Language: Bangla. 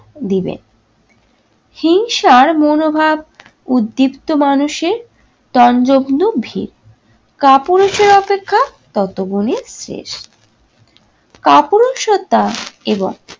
দিবে। হিংসার মনোভাব উদ্দীপ্ত মানুষের তঞ্জগ্ন ভিড়। কাপুরুষের অপেক্ষা ততগুনই কাপুরুষতা এবং